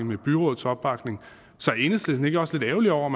med byrådets opbakning så er enhedslisten ikke også lidt ærgerlig over